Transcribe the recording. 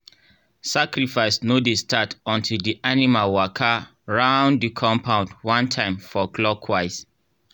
sacrifice no dey start until di animal waka round di compound one time for clockwise.